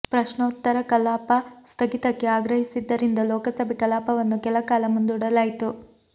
ಪ್ರಶ್ನೌತ್ತರ ಕಲಾಪ ಸ್ಥಗಿತಕ್ಕೆ ಆಗ್ರಹಿಸಿದ್ದರಿಂದ ಲೋಕಸಭೆ ಕಲಾಪವನ್ನು ಕೆಲ ಕಾಲ ಮುಂದೂಡಲಾಯಿತು